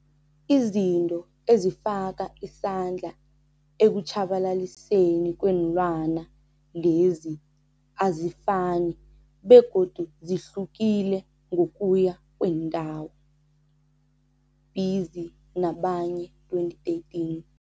Izinto ezifaka isandla ekutjhabalaliseni kweenlwana lezi azifani begodu zihluke ngokuya kweendawo, Pizzi nabanye, 2013.